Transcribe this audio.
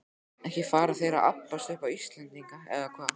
Ekki fara þeir að abbast upp á Íslendinga, eða hvað?